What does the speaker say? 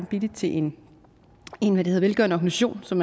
billigt til en velgørende organisation som